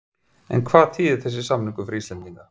En hvað þýðir þessi samningur fyrir Íslendinga?